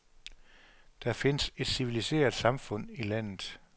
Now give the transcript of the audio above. Der findes et civiliseret samfund I landet.